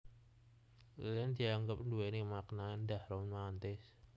Lilin dianggep nduwéni makna éndah romantis